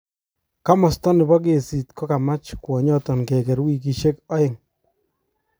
Komosta nebo kesit kokamach kwonyoton keger wikishek aeng.